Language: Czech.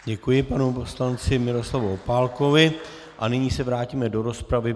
Děkuji panu poslanci Miroslavu Opálkovi a nyní se vrátíme do rozpravy.